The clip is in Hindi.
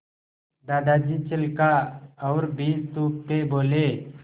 दादाजी छिलका और बीज थूकते बोले